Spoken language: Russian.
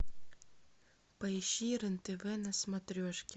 поищи рен тв на смотрешке